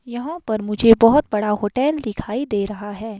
यहां पर मुझे बहुत बड़ा होटल दिखाई दे रहा है।